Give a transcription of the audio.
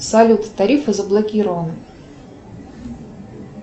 салют тарифы заблокированы